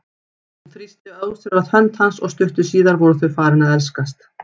Hún þrýsti ósjálfrátt hönd hans og stuttu síðar voru þau farin að elskast.